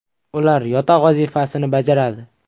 Ular yotoq vazifasini bajaradi.